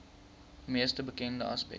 mees bekende aspek